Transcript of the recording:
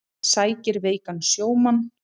Sækir veikan sjómann